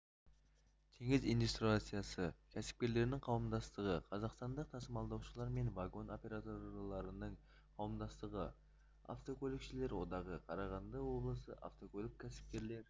теңіз индустриясы кәсіпкерлерінің қауымдастығы қазақстандық тасымалдаушылар мен вагон операторларыныңқауымдастығы автокөлікшілер одағы қарағанды облысы автокөлік кәсіпкерлер